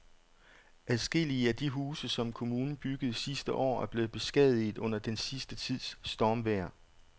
Adskillige af de huse, som kommunen byggede sidste år, er blevet beskadiget under den sidste tids stormvejr.